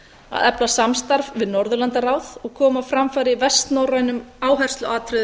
að efla samstarf við norðurlandaráð og koma á framfæri vestnorrænum áhersluatriðum